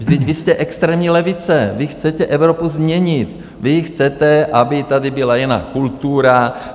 Vždyť vy jste extrémní levice, vy chcete Evropu změnit, vy chcete, aby tady byla jiná kultura!